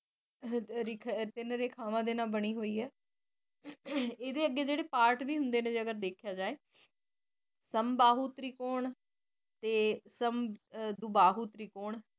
ਤੀਨ ਰੇਖਾਵਾਂ ਦੇ ਨਾਲ ਬਾਨੀ ਹੋਈ ਆਯ ਏਡੇ ਅਗੇ ਜੇਰੇ ਪਾਰਟ ਵੀ ਹੁੰਦੇ ਨੇ ਜੇ ਅਗਰ ਦੇਖੇ ਜੇ ਸੰਬਾਹੁ ਤਰੀਕੋੰ ਤੇ ਸੰਦੋਬਾਹੁ ਤਰੀਕੋੰ